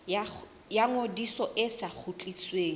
ya ngodiso e sa kgutlisweng